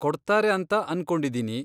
ಕೊಡ್ತಾರೆ ಅಂತ ಅನ್ಕೊಂಡಿದೀನಿ.